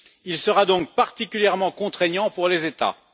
il sera donc particulièrement contraignant pour les États.